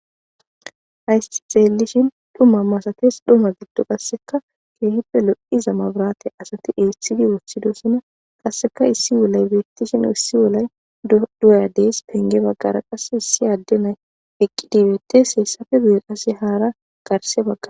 Hayssi xeellishin dhuma masatees. Ha dhuma giddon qassekka keehippe lo7iza mabiraate asati eethidi wothidosona. Qassekka issi wulay beettishin issi wulay doya dees. Penge baggara qasse issi adde na7i eqqidi hemettees. Hessappe guye qassi hara garssabaggara...